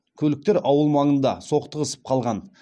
көліктер ауыл маңында соқтығысып қалған